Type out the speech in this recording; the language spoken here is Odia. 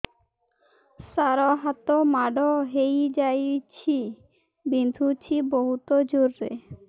ସାର ହାତ ମାଡ଼ ହେଇଯାଇଛି ବିନ୍ଧୁଛି ବହୁତ ଜୋରରେ